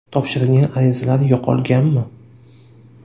Topshirilgan arizalar yo‘qolganmi?